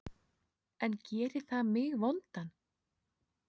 En gerir það mig vondan?